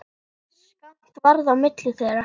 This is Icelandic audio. Skammt varð á milli þeirra.